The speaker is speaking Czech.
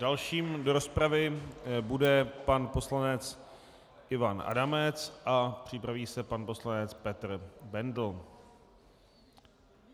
Dalším do rozpravy bude pan poslanec Ivan Adamec a připraví se pan poslanec Petr Bendl.